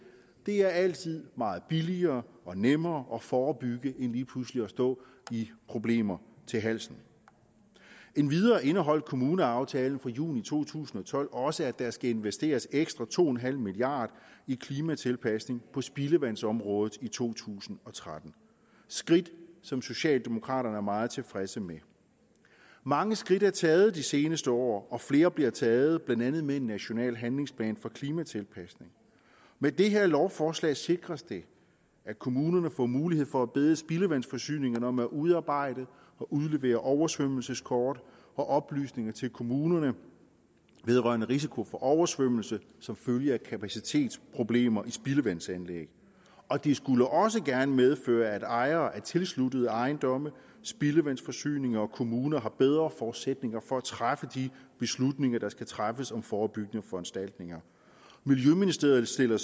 det er altid meget billigere og nemmere at forebygge end lige pludselig at stå i problemer til halsen endvidere indeholdt kommuneaftalen fra juni to tusind og tolv også at der skal investeres ekstra to en halv milliard i klimatilpasning på spildevandsområdet i to tusind og tretten skridt som socialdemokraterne er meget tilfredse med mange skridt er taget de seneste år og flere bliver taget blandt andet med en national handlingsplan for klimatilpasning med det her lovforslag sikres det at kommunerne får mulighed for at bede spildevandsforsyningerne om at udarbejde og udlevere oversvømmelseskort og oplysninger til kommunerne vedrørende risiko for oversvømmelse som følge af kapacitetsproblemer i spildevandsanlæg og det skulle også gerne medføre at ejere af tilsluttede ejendomme spildevandsforsyninger og kommuner har bedre forudsætninger for at træffe de beslutninger der skal træffes om forebyggende foranstaltninger miljøministeriet stiller